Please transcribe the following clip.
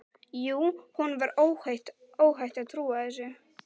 Jú, honum var óhætt að trúa þessu!